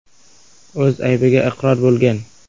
o‘z aybiga iqror bo‘lgan.